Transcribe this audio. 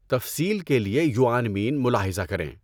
تفصیل کے لیے یؤآنمین ملاحظہ کریں۔